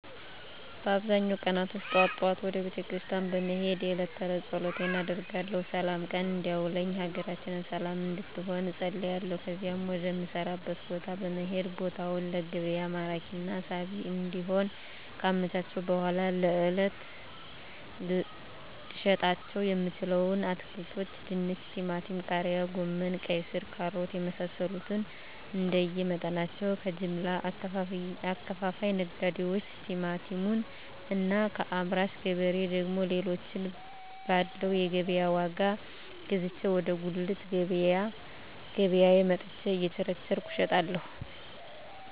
በአብዛኛው ቀናቶች ጠዋት ጠዋት ወደ ቤተክርስቲያን በመሄድ የእለት ተእለት ፀሎት አደርጋለሁ ስላም ቀን እንዲያውለኝ ሀገራችንን ሰለም እንድትሆን እፀልያለሁ ከዚያም ወደ ምሰራበት ቦታ በመሄድ ቦታውን ለገቢያ ማራኪና ሳቢ እንዲሆን ካመቻቸሁ በኃላ ለእለት ልሸጣቸው የምችለዉን አትክልቶች ድንች ቲማቲም ቃሪያ ጎመን ቀይስር ካሮት የመሳሰሉትንእንደየ መጠናቸው ከጀምላ አከፋፋይ ነጋዴዎች ቲማቲሙን እና ከአምራች ገበሬ ደግሞ ሌሎችን ባለው የገቢያ ዋጋ ገዝቼ ወደ ጉልት ገቢያየ መጥቸ እየቸረቸርኩ እሸጣለሁ